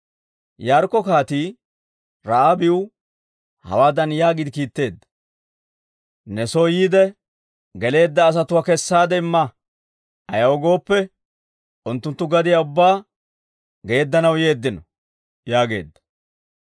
Yaarikko kaatii Ra'aabiw hawaadan yaagiide kiitteedda; «Ne soo yiide geleedda asatuwaa kessaade imma. Ayaw gooppe, unttunttu gadiyaa ubbaa geeddanaw yeeddino» yaageedda.